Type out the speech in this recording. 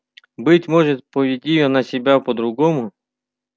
быть может поведи она себя по-другому